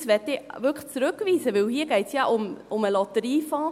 Das möchte ich wirklich zurückweisen, denn hier geht es ja um den Lotteriefonds.